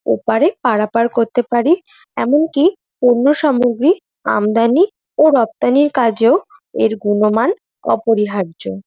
ওপারে পারাপার করতে পারি । এমন কি পন্য সামগ্রী আমদানি ও রপ্তানির কাজেও এর গুনমান অপরিহার্য।